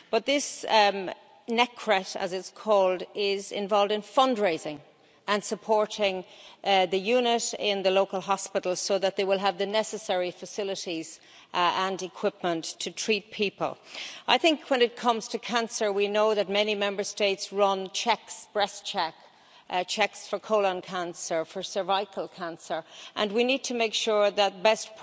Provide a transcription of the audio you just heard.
This Necret, as it is called, is involved in fundraising and supporting the unit in the local hospital so that they will have the necessary facilities and equipment to treat people. I think when it comes to cancer we know that many Member States run checks, breast checks, checks for colon cancer, for cervical cancer, and we need to make sure that best